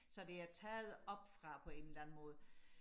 så det er taget oppefra på en eller anden måde